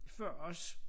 Før os